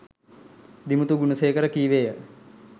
දිමුතු ගුණසේකර කීවේය..